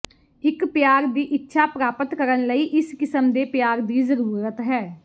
ਇੱਕ ਪਿਆਰ ਦੀ ਇੱਛਾ ਪ੍ਰਾਪਤ ਕਰਨ ਲਈ ਇਸ ਕਿਸਮ ਦੇ ਪਿਆਰ ਦੀ ਜ਼ਰੂਰਤ ਹੈ